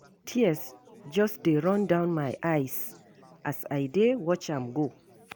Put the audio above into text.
Tears just dey run down my eyes as I dey watch am go.